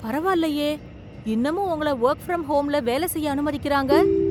பரவாயில்லையே, இன்னமும் உங்கள ஒர்க் ஃப்ரம் ஹோம்ல வேலை செய்ய அனுமதிக்கிறாங்க!